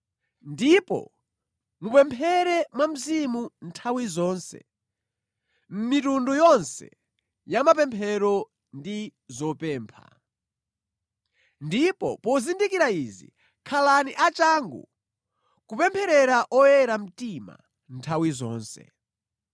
Ndipo mupemphere mwa Mzimu nthawi zonse, mʼmitundu yonse ya mapemphero ndi zopempha. Ndipo pozindikira izi, khalani achangu kupempherera oyera mtima nthawi zonse.